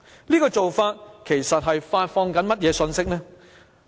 這種做法其實是在發放甚麼信息？